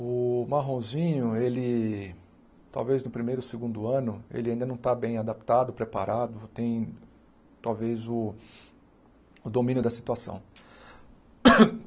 O Marronzinho, ele, talvez no primeiro ou segundo ano, ele ainda não está bem adaptado, preparado, tem talvez o o domínio da situação.